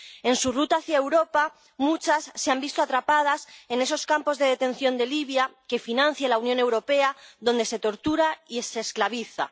En su ruta hacia Europa muchos se han visto atrapados en esos campos de detención de Libia, que financia la Unión Europea, donde se tortura y se esclaviza.